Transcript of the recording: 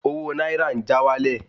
Owó náírà ń já wálẹ̀